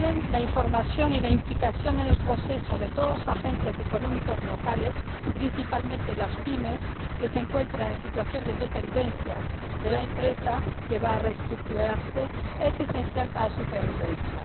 La información y la implicación en el proceso de todos los agentes económicos locales, principalmente las PYME que se encuentran en situación de dependencia de la empresa que va a reestructurarse, son esenciales para su supervivencia.